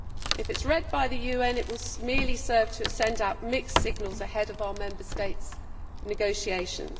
If it is read by the UN, it will merely serve to send out mixed signals ahead of our Member States' negotiations.